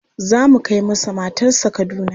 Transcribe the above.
Za mu kai masa matarsa Kaduna.